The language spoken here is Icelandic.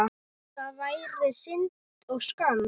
Það væri synd og skömm.